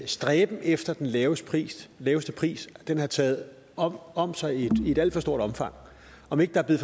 stræben efter den laveste pris laveste pris har taget om om sig i et alt for stort omfang om ikke der er